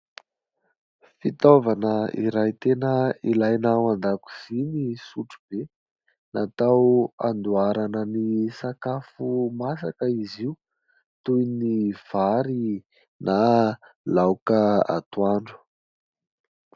Fitaovana iray tena ilaina ao an-dakozia ny sotrobe. Natao handoarana ny sakafo masaka izy io, toy ny vary na laoka atoandro.